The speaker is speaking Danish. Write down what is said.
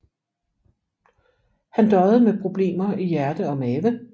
Han døjede med problemer i hjerte og mave